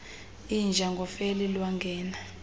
inja ngofele lwangena